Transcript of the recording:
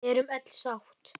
Við erum öll sátt.